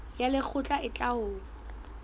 ya lekgotla e tla ho